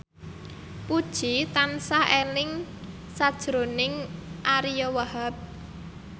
Puji tansah eling sakjroning Ariyo Wahab